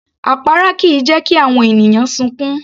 Àpárá kìí jẹ́ kí àwọn ènìyàn sunkún